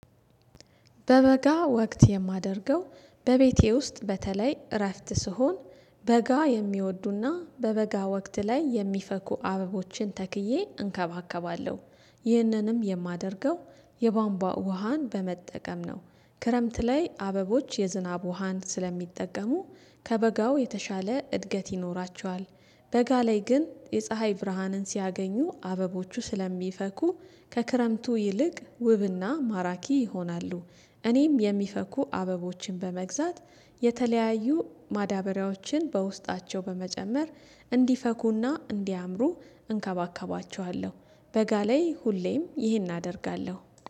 በበጋ ወቅት የማደርገው በቤቴ ውስጥ በተለይ እረፍት ስሆን በጋ የሚወዱና በበጋ ወቅት ላይ የሚፈኩ አበቦችን ተክዬ እንከባከባለሁ። ይህንንም የማደርገው የቧንቧ ውሃን በመጠቀም ነው። ክረምት ላይ አበቦች የዝናብ ውሃን ስለሚጠቀሙ ከበጋው የተሻለ እድገት ይኖራቸዋል። በጋ ላይ ግን የፀሀይ ብርሃንን ሲያገኙ አበቦቹ ስለሚፈኩ ከክረምቱ ይልቅ ውብና ማራኪ ይሆናሉ። እኔም የሚፈኩ አበቦችን በመግዛት የተለያዩ ማዳበሪያዎችን በውስጣቸው በመጨመር እንዲፈኩና እንዲያምሩ እንከባከባቸዋለሁ። በጋ ላይ ሁሌም ይህን አደርጋለሁ